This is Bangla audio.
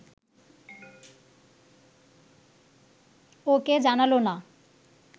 ওকে জানাল না!